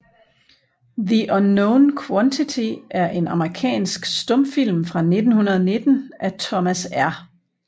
The Unknown Quantity er en amerikansk stumfilm fra 1919 af Thomas R